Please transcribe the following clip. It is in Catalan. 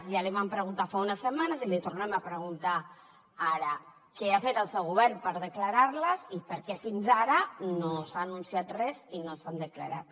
ja l’hi vam preguntar fa unes setmanes i l’hi tornem a preguntar ara què ha fet el seu govern per declarar les i per què fins ara no s’ha anunciat res i no s’han declarat